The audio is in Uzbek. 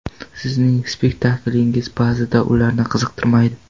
Sizning spektakllaringiz ba’zida ularni qiziqtirmaydi.